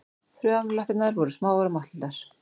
Framlappirnar voru smáar og máttlitlar.